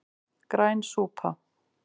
Græn súpa